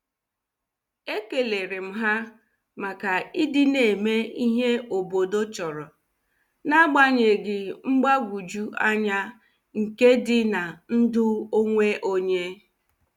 E kelerem ha maka ịdị na- eme ihe obodo chọrọ, n'agbanyeghị mgbagwoju anya nke dị na ndụ onwe onye.